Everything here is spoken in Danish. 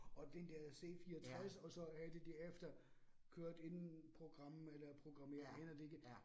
Og den der C 64, og så havde de derefter kørt en program eller programmering aner det ikke